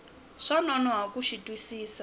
swa nonoha ku xi twisisa